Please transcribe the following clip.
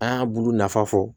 An y'a bulu nafa fɔ